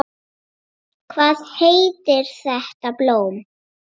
Hvað heitir þetta blóm?